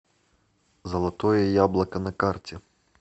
золотое яблоко на карте